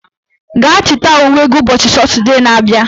Gaa chịta uwe gị ụbọchị Satọdee na abịa